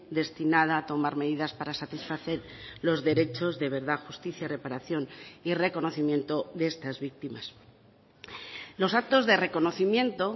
destinada a tomar medidas para satisfacer los derechos de verdad justicia y reparación y reconocimiento de estas víctimas los actos de reconocimiento